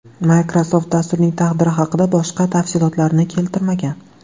Microsoft dasturning taqdiri haqida boshqa tafsilotlarni keltirmagan.